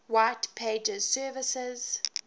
white pages services